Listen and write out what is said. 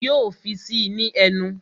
Yo fi gbogbo ẹ sí í ní ẹnu